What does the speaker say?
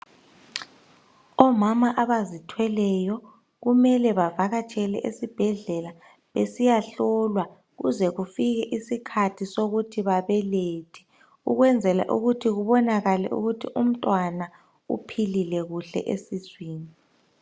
Omama abazithweleyo kufuze bavakatshele ezibhedlela besiyahlolwa kuze kufike isikhathi sabo sokuyabeletha , ukwenzela ukuthi kubonakale ukuthi umntwana uphilile kuhle esiswini.